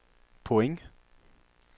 point